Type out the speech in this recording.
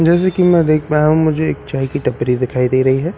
जैसे की मैं देख पाया हूँ मुझे एक चाय की टपरी दिखाई दे रही है जिस--